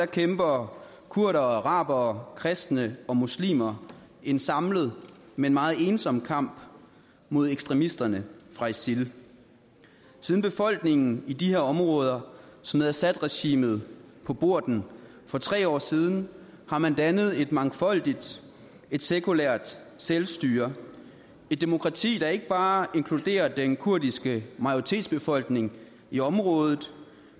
kæmper kurdere og arabere kristne og muslimer en samlet men meget ensom kamp mod ekstremisterne fra isil siden befolkningen i de her områder smed assadregimet på porten for tre år siden har man dannet et mangfoldigt sekulært selvstyre et demokrati der ikke bare inkluderer den kurdiske majoritetsbefolkning i området